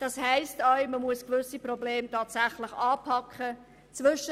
Das heisst auch, dass man gewisse Probleme tatsächlich anpacken muss.